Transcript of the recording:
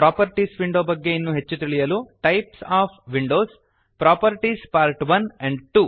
properties window ಬಗ್ಗೆ ಇನ್ನೂ ಹೆಚ್ಚು ತಿಳಿಯಲು types of windows properties part 1 and 2 types of windows - properties part 1 and 2